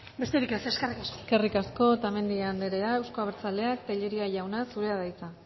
besterik ez eskerrik asko eskerrik asko otamendi andrea euzko abertzaleak tellería jauna zurea da hitza